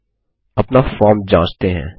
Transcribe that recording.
अब अपना फॉर्म जांचते हैं